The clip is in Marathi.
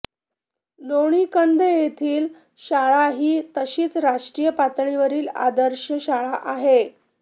लोणीकंद येथील शाळाही तशीच राष्ट्रीय पातळीवरील आदर्श शाळा आहे